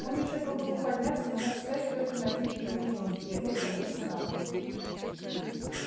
он ещё пробовал подняться но мог встать только на одни передние ноги и опять валился на бок